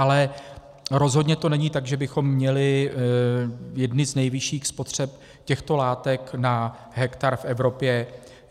Ale rozhodně to není tak, že bychom měli jednu z nejvyšších spotřeb těchto látek na hektar v Evropě.